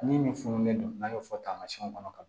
Ni nin fununen don n'a y'o fɔ tamasiyɛnw kɔnɔ ka ban